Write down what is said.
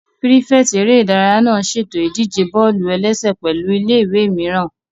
Pírífẹ̀tì eré ìdárayá náà n ṣètò ìdíje bọ́ọ̀lù-ẹlẹ́sẹ̀ pẹ̀lụ́ ilé-ìwé mìíràn